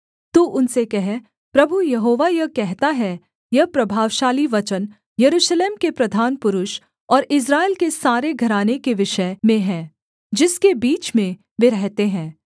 तू उनसे कह प्रभु यहोवा यह कहता है यह प्रभावशाली वचन यरूशलेम के प्रधान पुरुष और इस्राएल के सारे घराने के विषय में है जिसके बीच में वे रहते हैं